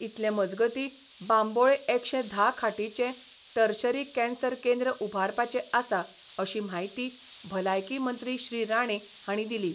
इतले मजगतीं बांबोळे एकशें धा खाटींचे टर्शरी कॅन्सर केंद्र उभारपाचे आसा अशी म्हायती भलायकी मंत्री श्री राणे हांणी दिली.